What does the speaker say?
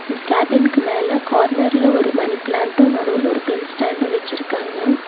இந்த கேபின்க்கு மேல கார்னர்ல ஒரு மணி பிளான்டு நடுவுல ஒரு பென் ஸ்டேண்டு வச்சிருக்காங்க.